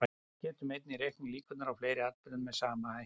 Við getum einnig reiknað líkurnar á fleiri atburðum með sama hætti.